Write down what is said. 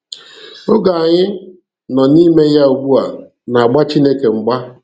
Oge anyị um nọ n'ime ya ugbu a na-agba Chineke mgba.